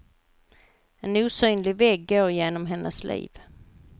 En osynlig vägg går genom hennes liv.